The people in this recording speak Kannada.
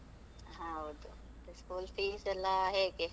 ಹೌದು, school fees ಎಲ್ಲಾ ಹೇಗೆ?